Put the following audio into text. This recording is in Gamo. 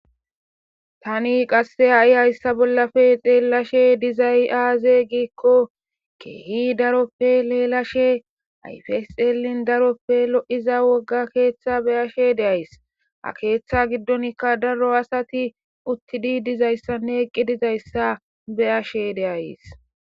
Tani qasse ha7i hayssa bollappe xeelashe dizay aaze giikko keehi daroppe leelashe ayfeselin daroppe lo7iza wogga keeththa be7ashe de7ays. ha keeththa giddonkka daro asati uttidi dizayssanne eqqi dizayssa beyashe de7ays.